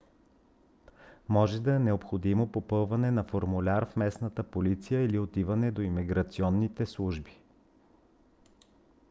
може да е необходимо попълване на формуляр в местната полиция или отиване до имиграционните служби